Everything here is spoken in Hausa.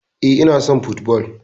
Eh, Ina son football